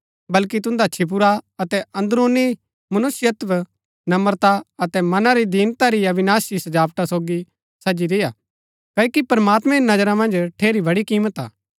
बल्कि तुन्दा छिपुरा अतै अन्दरूनी मनुष्यत्व नम्रता अतै मना री दीनता री अविनाशी सजावटा सोगी सजी रेय्आ क्ओकि प्रमात्मैं री नजरा मन्ज ठेरी बड़ी किमत हा